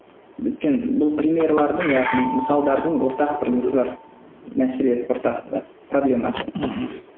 өйткені бұл примерлердің яғни мысалдардың ортақ бір несі бар мәселе ортасында проблемасы мхм